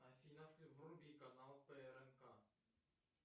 афина вруби канал трнк